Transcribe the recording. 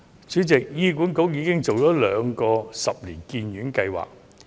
主席，醫管局已準備兩個十年醫院發展計劃。